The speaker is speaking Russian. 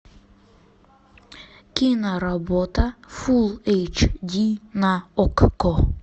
киноработа фулл эйч ди на окко